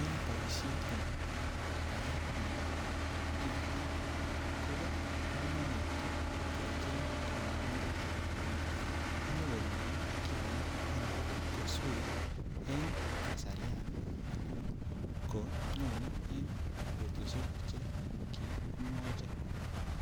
En boishet nebo baet nebo kiagik Kobo komonut ii kecheng konyoindet ii ne nyoko nyoe kiagik ana koswee en kasarian ana ko nyone en betushek che kimwochi.